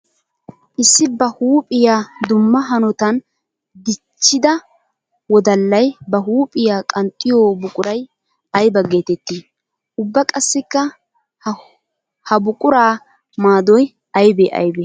Issi ba huuphiya dumma hanotan dichidda wodallay ba huuphiya qanxxiyo buquray aybba geetetti? Ubba qassikka ha buqura maadoy aybbe aybbe?